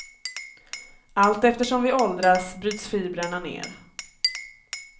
Allt eftersom vi åldras bryts fibrerna ner.